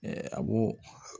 a b'o